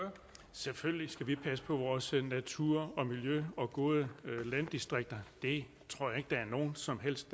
selvfølgelig skal vi passe på vores natur og miljø og gode landdistrikter det tror jeg ikke der er nogen som helst